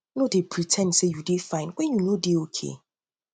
nor dey pre ten d sey you dey fine wen you know sey you nor dey okay